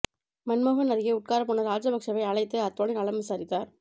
மன்மோகன் அருகே உட்காரப் போன ராஜபக்சவை அழைத்து அத்வானி நலம் விசாரித்தார்